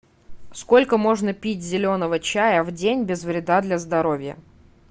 сколько можно пить зеленого чая в день без вреда для здоровья